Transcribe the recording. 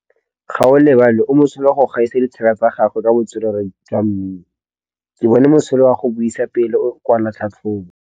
Gaolebalwe o mosola go gaisa dithaka tsa gagwe ka botswerere jwa mmino. Ke bone mosola wa go buisa pele o kwala tlhatlhobô.